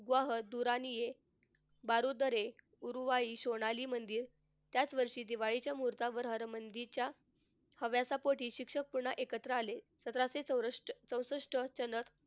व दुरानीये बारुद्रेक सोनाली मंदिर त्याच वर्षी दिवाळीच्या मुहूर्तावर हरमंदिरच्या हव्यासापोटी शिक्षक पुन्हा एकत्र आले. सतराशे चौरष्ट चौसष्ट